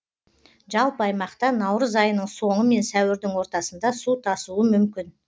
жалпы аймақта наурыз айының соңы мен сәуірдің ортасында су тасуы мүмкін